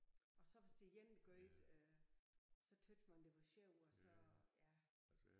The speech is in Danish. Og så hvis det dem der gør det øh så tøt man det var sjovt og så ja